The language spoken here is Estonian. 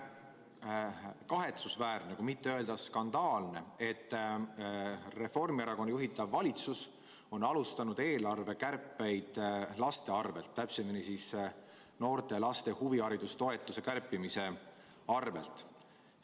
On kahetsusväärne, kui mitte öelda skandaalne, et Reformierakonna juhitav valitsus on alustanud eelarvekärpeid laste arvelt, täpsemini noorte ja laste huvihariduse toetuse kärpimise arvelt.